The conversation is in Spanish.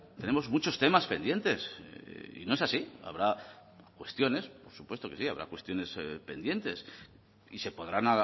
tenemos muchos temas pendientes y no es así habrá cuestiones por supuesto que sí habrá cuestiones pendientes y se podrán